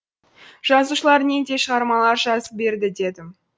жазушылар нендей шығармалар жазып берді дедім